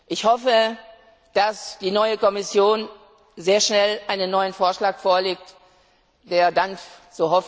Ich hoffe, dass die neue Kommission sehr schnell einen neuen Vorschlag vorlegt, der dann so hoffe ich zu einer Einigung führen wird.